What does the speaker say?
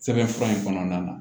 Sɛbɛn fura in kɔnɔna na